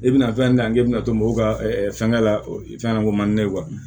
I bɛna fɛn di yan k'e bɛna to mɔgɔw ka fɛnkɛ la fɛnɲɛnamaniko man di ne ye